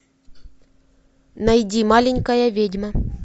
найди маленькая ведьма